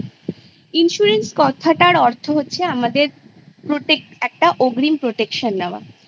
Insurance? কথাটার অর্থ হচ্ছে আমাদের protect একটা অগ্রিম protection নেওয়া বা